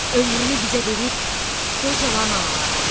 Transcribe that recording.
Ömrünü bizə verib qocalan analara.